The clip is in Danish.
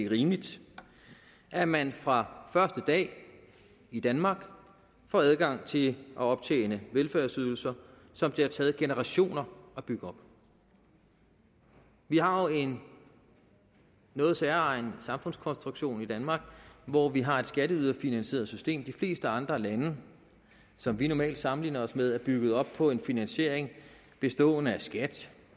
rimeligt at man fra første dag i danmark får adgang til at optjene velfærdsydelser som det har taget generationer at bygge op vi har jo en noget særegen samfundskonstruktion i danmark hvor vi har et skatteyderfinansieret system de fleste andre lande som vi normalt sammenligner os med er bygget op på en finansiering bestående af skat